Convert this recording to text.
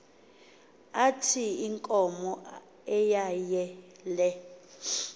ithi inkomo eyeyele